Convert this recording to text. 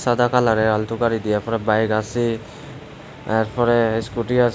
সাদা কালারের অলটো গাড়ি দিয়া এরপরে বাইক আসে আরপরে স্কুটি আস--